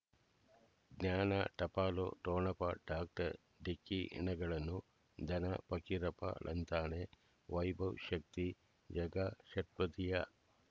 ಜ್ಞಾನ ಟಪಾಲು ಠೊಣಪ ಡಾಕ್ಟರ್ ಢಿಕ್ಕಿ ಣಗಳನು ಧನ ಫಕೀರಪ್ಪ ಳಂತಾನೆ ವೈಭವ್ ಶಕ್ತಿ ಝಗಾ ಷಟ್ಪದಿಯ